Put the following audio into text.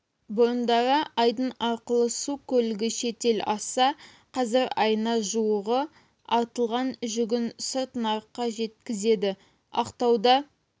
бұрындары айдын арқылы су көлігі шетел асса қазір айына жуығы артылған жүгін сырт нарыққа жеткізеді ақтауда